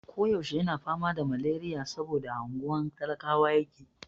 Ko yaushe yana fama da maleriya saboda a unguwar talakawa yake.